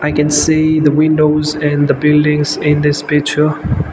i can see the windows and the buildings in this picture.